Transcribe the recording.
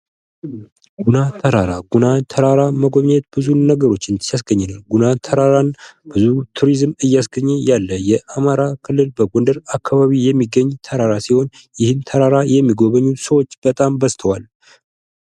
ጉና ተራራ ጉና ተራራን መጎብኘት ብዙ ነገሮችን ሲያስገኝልን ጉና ተራራን ብዙ ቱሪዝም እያስገኘ ያለ የአማራ ክልል በጎንደር አካባቢ የሚገኝ ተራራ ሲሆን ይህም ተራራ የሚጎበኙት ሰዎች በጣም በዝተዋል::